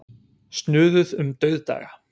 Snuðuð um dauðdaga.